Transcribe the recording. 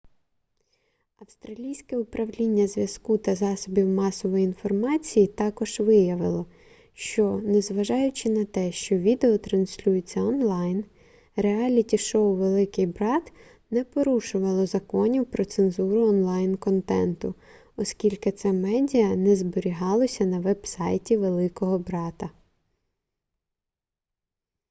австралійське управління зв'язку та засобів масової інформації також виявило що незважаючи на те що відео транслюється онлайн реаліті-шоу великий брат не порушувало законів про цензуру онлайн-контенту оскільки це медіа не зберігалося на веб-сайті великого брата